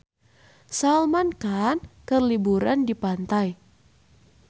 Salman Khan keur liburan di pantai